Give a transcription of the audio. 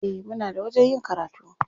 Eh, muna da wajen yin karatu.